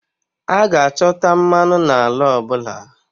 A ga-achọta mmanụ n'ala ọ bụla